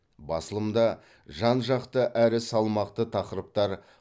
басылымда жан жақты әрі салмақты тақырыптар